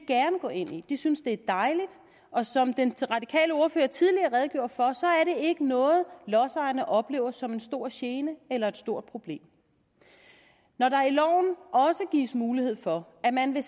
gå ind i det de synes det er dejligt og som den radikale ordfører tidligere redegjorde for så er det ikke noget lodsejerne oplever som en stor gene eller et stort problem når der i loven også gives mulighed for at man ved